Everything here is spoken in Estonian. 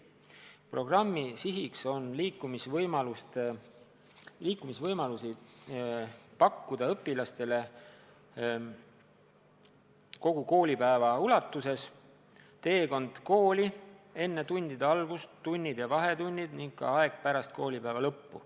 Programmi siht on pakkuda õpilastele liikumisvõimalusi kogu koolipäeva ulatuses: teel kooli, enne tundide algust, tundide ja vahetundide ajal ning ka pärast koolipäeva lõppu.